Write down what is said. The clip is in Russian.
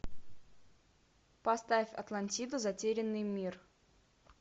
поставь атлантиду затерянный мир